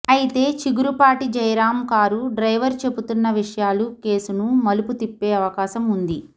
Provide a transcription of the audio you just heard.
అయితే Chigurupati Jayaram car driver చెబుతున్న విషయాలు కేసును మలుపు తిప్పే అవకాశం ఉంది